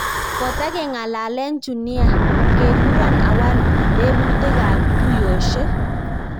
Kotangalalen chu nia. kekuran awal teputik ak tuyoshek.